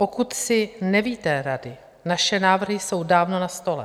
Pokud si nevíte rady, naše návrhy jsou dávno na stole.